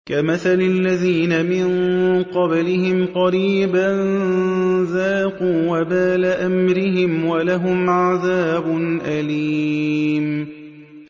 كَمَثَلِ الَّذِينَ مِن قَبْلِهِمْ قَرِيبًا ۖ ذَاقُوا وَبَالَ أَمْرِهِمْ وَلَهُمْ عَذَابٌ أَلِيمٌ